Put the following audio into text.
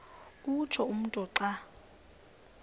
utsho umntu xa